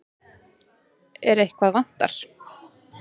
En eitthvað vantar.